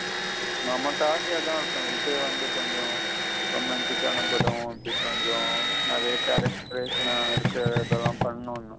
நம்மக்காகதா விஜய் வந்து கொஞ்சம் romantic ஆன படம் அப்பிடி கொஞ்சம் நெறைய character ன்ன இத எல்லாம் பன்ணனோ.